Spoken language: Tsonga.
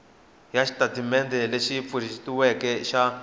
ya xitatimendhe lexi pfuxetiweke xa